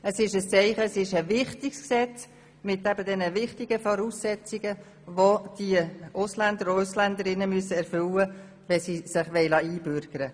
Es handelt sich um ein wichtiges Gesetz mit wichtigen Voraussetzungen, welche von den Ausländerinnen und Ausländern erfüllt werden müssen, wenn sie sich einbürgern lassen wollen.